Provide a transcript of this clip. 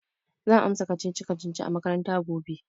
Zan amsa kacici-kacici a makaranta gobe.